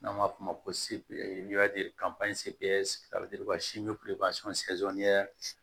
N'an b'a f'o ma ko